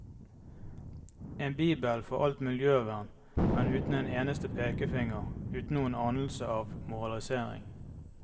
En bibel for alt miljøvern, men uten en eneste pekefinger, uten noen anelse av moralisering.